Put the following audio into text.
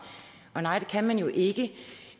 og nej det kan man jo ikke